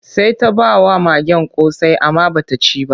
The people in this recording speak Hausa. Sai ta ba wa magen ƙosai amma ba ta ci ba.